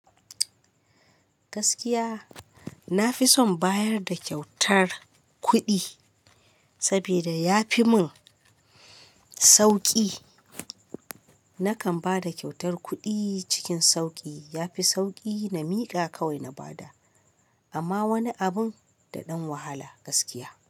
Gaskiya na fi son bayar da kyautar kuɗi saboda ya fi mun sauƙi. Nakan ba da kyautar kuɗi cikin sauƙi. Ya fi sauƙi na miƙa kawai na bada, amma wani abun da ɗan wahala gaskiya.